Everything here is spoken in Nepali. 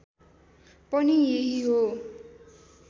पनि यही हो